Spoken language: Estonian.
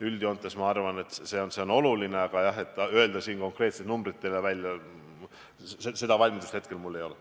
Üldjoontes, on see minu arvates oluline, aga, jah, öelda siin konkreetset numbrit välja, seda valmidust mul hetkel ei ole.